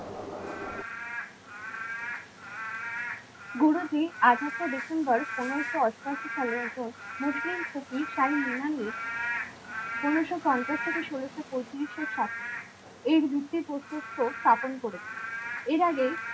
গুরুজি আঠাশে ডিসেম্বর পনেরোশো অষ্টআশি সালে একজন মুসলিম ফকির শাহীন ঈমানির পনেরোশো পঞ্চাশ থেকে ষোলোশো পঁয়তিরিশ এর সাথে এর ভিত্তি প্রস্তরও স্থাপন করেছিল। এর আগে